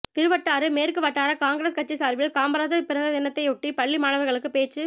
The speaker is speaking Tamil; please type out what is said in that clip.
திருவட்டாறு மேற்கு வட்டார காங்கிரஸ் கட்சி சாா்பில் காமராஜா் பிறந்ததினத்தையொட்டி பள்ளி மாணவா்களுக்கு பேச்சுப்